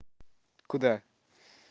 куда